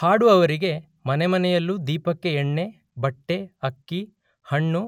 ಹಾಡುವವರಿಗೆ ಮನೆಮನೆಯಲ್ಲೂ ದೀಪಕ್ಕೆ ಎಣ್ಣೆ ಬಟ್ಟೆ ಅಕ್ಕಿ ಹಣ್ಣು